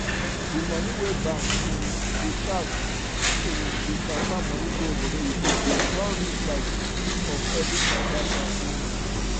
the money wey bank um dey charge if um you transfer money go obodoyibo don reach like 50 for every transaction um